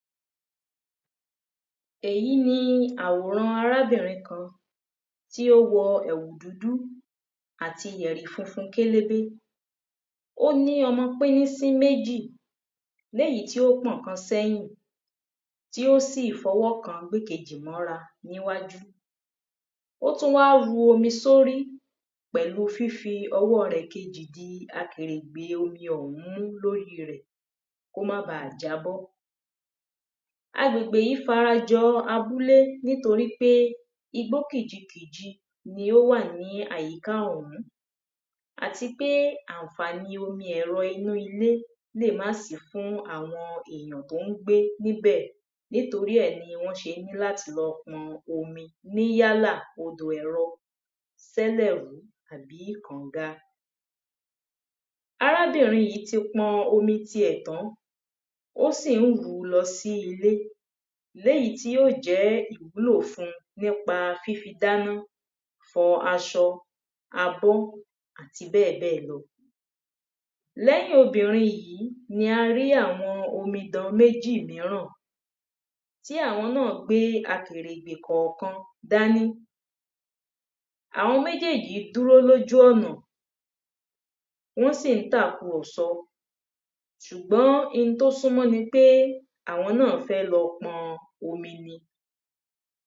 Èyí ni àwòrán arábìnrin kan tí ó wo̩ è̩wù dúdú àti yè̩rì funfun kélébé. Ó ní o̩mo̩ pínnísín méjì léyìí tí ó pò̩ kan sé̩yìn tí ó sì fo̩wó̩ kan gbé èkejì mó̩ra níwájú. Ó tún wá ru omi sórí pè̩lu fífi o̩wó̩ rè̩ kejì di akèrègbè omi ò̩hún mú lórí rè̩ kó má baà jábó̩. Agbègbè yí fara jo̩ abúlé nítorípé igbó kìjikìji ni ó wà ní àyíká ò̩hún. Àti pé àǹfàní omi è̩ro̩ inú ilé lè má sí fún àwo̩n ènìyàn tí wó̩n ń gbé níbè̩. Nítorí è̩ ni wó̩n s̩e ní láti lo̩ po̩n omi ní odò e̩ro̩, sé̩lè̩rú àbí kànga. Arábìnrin yí ti po̩n omi tiè̩ tán. Ó sì ń rù ú lo̩ sí ilé. Léyí tí yóò jé̩ ìwúlò fun nípa fífi dáná, fo̩ aso̩, àti bé̩è̩bé̩è̩ lo̩. Lé̩yìn obìnrin yìí ni a rí àwo̩n omidan méjì míràn tí àwo̩n náà gbé akèrègbè kò̩ò̩kan dání. Àwo̩n méjéjì dúró lójú ò̩nà Wó̩n sì ń tàkurò̩so̩. Sùgbó̩n n tó súnmó̩ ni pé àwo̩n náà fé̩ lo̩ po̩n omi ni.